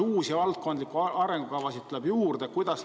Kas uusi valdkondlikke arengukavasid tuleb juurde?